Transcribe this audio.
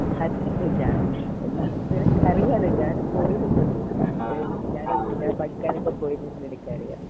അതിനെന്താ ഞാൻ നിനക്കറിയാലോ ഞാൻ പോയിരുന്നത് ഞാൻ കൊറേ പഠിക്കാൻ ഒക്കെ പോയിരുന്നത് നിനക്കറിയ